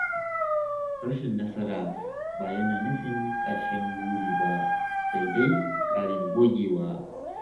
Rashin nasara ba yana nufin ƙarshen buri ba, sai dai ƙarin gogewa.